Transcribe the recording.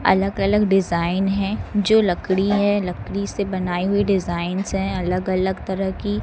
अलग अलग डिजाइन है जो लकड़ी है लकड़ी से बनाई हुई डिजाइंस है अलग अलग तरह की।